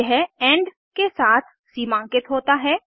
यह इंड के साथ सीमांकित होता है